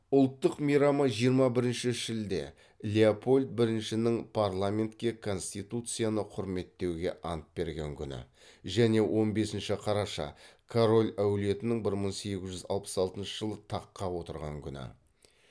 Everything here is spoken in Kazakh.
ұлттық мейрамы жиырма бірінші шілде мен он бесінші қараша